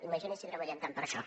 imagini’s si treballem tant per això